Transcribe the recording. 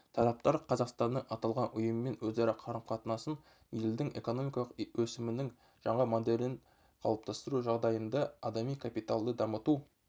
тараптар қазақстанның аталған ұйыммен өзара қарым-қатынасын елдің экономикалық өсімінің жаңа моделін қалыптастыру жағдайында адами капиталды дамыту